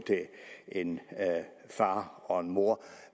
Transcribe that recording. en far og en mor